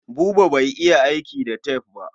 Buba bai iya aiki da tef ba.